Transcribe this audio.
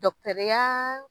ya